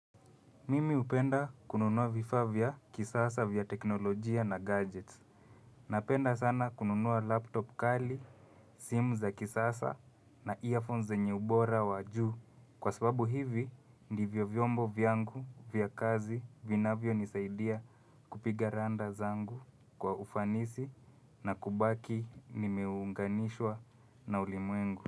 Mimi hupenda kununua vifaa vya kisasa vya teknolojia na gadgets. Napenda sana kununua laptop kali, simu za kisasa na earphones zenye ubora wa juu. Kwa sababu hivi ndivyo vyombo vya kazi vinavyonisaidia kupiga rada zangu kwa ufanisi na kubaki nimeunganishwa na ulimwengu.